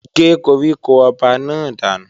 Gé koríko ọba náà dànù!